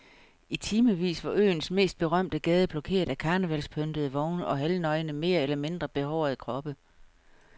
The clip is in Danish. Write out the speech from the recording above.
I timevis var øens mest berømte gade blokeret af karnevalspyntede vogne og halvnøgne mere eller mindre behårede kroppe.